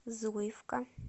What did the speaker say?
зуевка